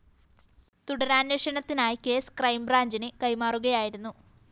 തുടരന്വേഷണത്തിനായി case ക്രൈംബ്രാഞ്ചിന് കൈമാറുകയായിരുന്നു